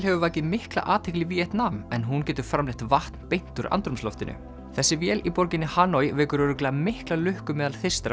hefur vakið mikla athygli í Víetnam en hún getur framleitt vatn beint úr andrúmsloftinu þessi vél í borginni Hanoi vekur örugglega mikla lukku meðal